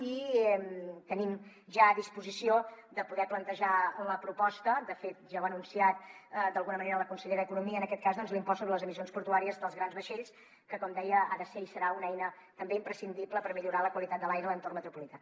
i tenim ja a disposició de poder plantejar la proposta de fet ja ho ha anunciat d’alguna manera la consellera d’economia en aquest cas doncs de l’impost sobre les emissions portuàries dels grans vaixells que com deia ha de ser i serà una eina també imprescindible per millorar la qualitat de l’aire a l’entorn metropolità